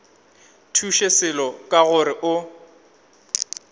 thuše selo ka gore o